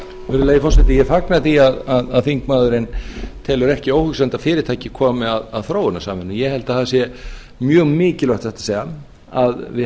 virðulegi forseti ég fagna því að þingmaðurinn telur ekki óhugsandi að fyrirtæki komi að þróunarsamvinnunni ég held að það sé mjög mikilvægt satt að segja að við